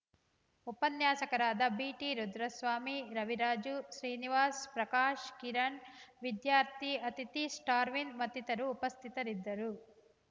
ಉಪನ್ಯಾಸಕರಾದ ಜಿಟಿ ರುದ್ರಸ್ವಾಮಿ ರವಿರಾಜು ಶ್ರೀನಿವಾಸ್‌ ಪ್ರಕಾಶ್‌ ಕಿರಣ್‌ ವಿದ್ಯಾರ್ಥಿ ಅತಿಥಿ ಸ್ಟಾರ್ವಿನ್‌ ಮತ್ತಿತರರು ಉಪಸ್ಥಿತರಿದ್ದರು